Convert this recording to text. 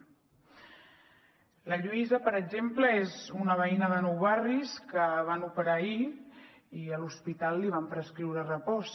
la lluïsa per exemple és una veïna de nou barris a qui van operar ahir i a l’hospital li van prescriure repòs